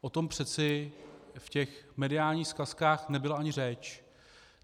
O tom přece v těch mediálních zkazkách nebyla ani řeč.